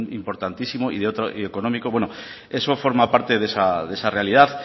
importantísimo y económico bueno eso forma parte de esa realidad